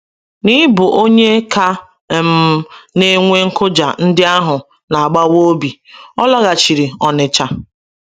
N'ịbụ onye ka um na-enwe nkụja ndị ahụ na-agbawa obi, ọ laghachiri Onitsha.